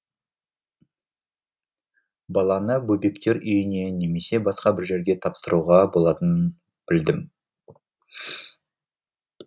баланы бөбектер үйіне немесе басқа бір жерге тапсыруға болатынын білдім